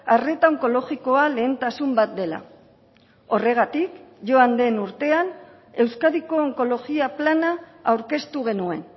arreta onkologikoa lehentasun bat dela horregatik joan den urtean euskadiko onkologia plana aurkeztu genuen